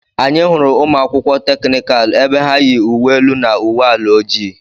Anyị hụrụ ụmụ akwụkwọ teknikal ebe ha ya uwe elu na uwe ala ojii.